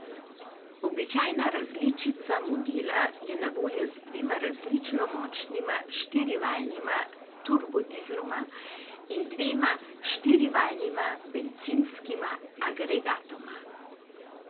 Običajna različica modela je na voljo z dvema različno močnima štirivaljnima turbodizloma in dvema štirivaljnima bencinskima agregatoma.